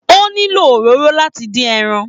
O nílò òróró láti dín ẹran.